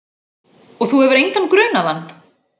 Og þú hefur engan grunaðan?